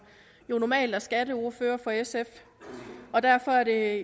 jo normalt er skatteordfører for sf og derfor er